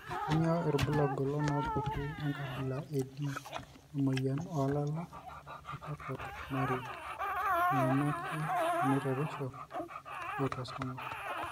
Kainyio irbulabul onaapuku enkabila e D emuoyian oolala eCharcot Marie nairiamaki enaitoreisho eautosomal.